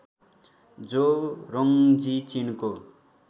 जु Rongji चीनको